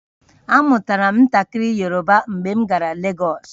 Amụtara m ntakịrị Yoruba mgbe m gara Legọsụ